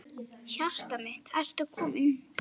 Hjartað mitt, ertu kominn?